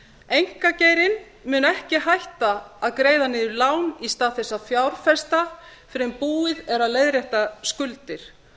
einkageirinn mun ekki hætta að greiða niður lán í stað þess að fjárfesta fyrr en búið er að leiðrétta skuldir